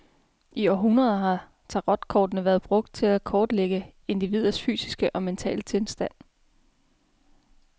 I århundreder har tarotkortene været brugt til at kortlægge individers fysiske og mentale tilstand.